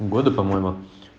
годы по-моему